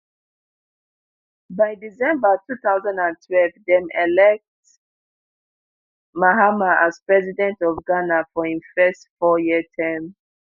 by december two thousand and twelve dem elect mahama as president of ghana for im first fouryear term